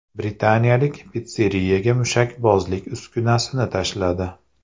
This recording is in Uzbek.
Britaniyalik pitsseriyaga mushakbozlik uskunasini tashladi .